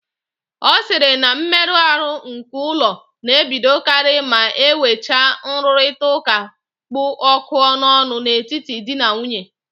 Ọ sịrị na mmeru ahụ nke ụlọ na-ebidokarị ma enwecha nrụrịtaụ́ká kpụ ọkụ n'ọnụ n'etiti di na nwunye